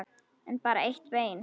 En bara eitt bein.